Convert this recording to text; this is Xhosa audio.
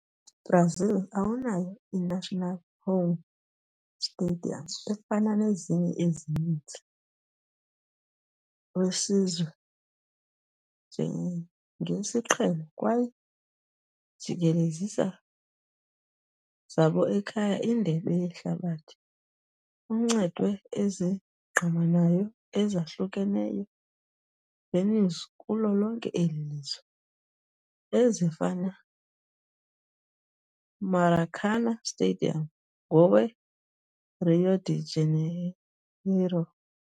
Brazil awunayo i-national home stadium efana nezinye ezininzi wesizwe njengesiqhelo, kwaye jikelezisa zabo ekhaya Indebe Yehlabathi kuncedwe ezingqamanayo ezahlukeneyo venues kulo lonke eli lizwe, ezifana Maracanã Stadium ngowe - Rio de Janeiro.